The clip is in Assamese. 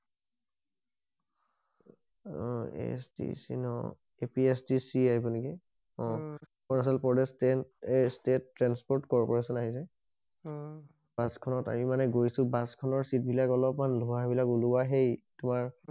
অ ASTC ন APSTS আহিব নেকি অ Arunachal Pradesh state transport service আহি যায় অহ বাছ খনত আমি মানে গৈছো বাছ খনত চিট বিলাক অলপ মান ধোৱা বিলাক ওলোৱা হেই তোমাৰ